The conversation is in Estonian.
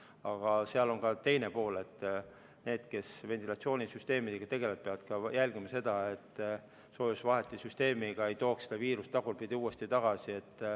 Aga seal on ka teine pool: need, kes ventilatsioonisüsteemidega tegelevad, peavad jälgima, et soojusvaheti ei tooks seda viirust tagurpidi uuesti tagasi.